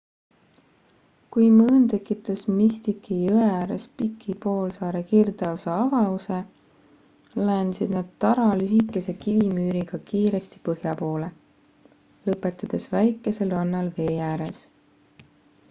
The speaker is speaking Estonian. kui mõõn tekitas mystici jõe ääres piki poolsaare kirdeosa avause laiendasid nad tara lühikese kivimüüriga kiiresti põhja poole lõpetades väikesel rannal vee ääres